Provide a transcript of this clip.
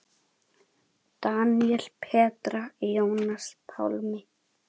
Daníel, Petra, Jónas Pálmi.